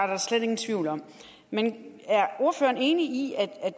der slet ingen tvivl om men er ordføreren enig i at